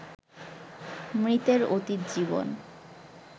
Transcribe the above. মৃতের অতীত জীবন